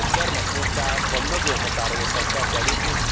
A gyermekmunkában nagyon határozottan fel kell lépni!